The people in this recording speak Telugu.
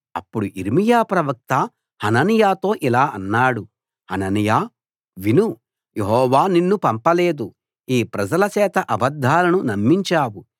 అప్పుడు యిర్మీయా ప్రవక్త హనన్యాతో ఇలా అన్నాడు హనన్యా విను యెహోవా నిన్ను పంపలేదు ఈ ప్రజల చేత అబద్ధాలను నమ్మించావు